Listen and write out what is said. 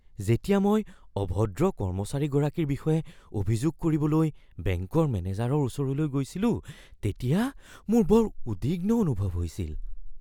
যেতিয়া মই অভদ্ৰ কৰ্মচাৰীগৰাকীৰ বিষয়ে অভিযোগ কৰিবলৈ বেংকৰ মেনেজাৰৰ ওচৰলৈ গৈছিলো তেতিয়া মোৰ বৰ উদ্বিগ্ন অনুভৱ হৈছিল।